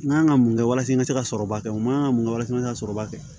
N man kan ka mun kɛ walasa n ka se ka sɔrɔba kɛ o man kan ka mun kɛ walasa n ka sɔrɔba kɛ